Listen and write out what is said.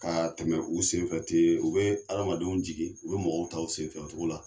Ka tɛmɛ u sen fɛ ten , u bɛ adamadenw jigin ,u bɛ mɔgɔw ta u sen fɛ o cogo la.